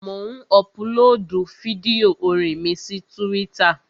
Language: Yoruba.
Mò ń ọpulóòdù fídíò orin mi sí túwítà